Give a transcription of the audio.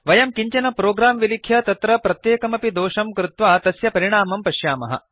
वयं किञ्चन प्रोग्राम् विलिख्य तत्र प्रत्येकमपि दोषं कृत्वा तस्य परिणामं पश्यामः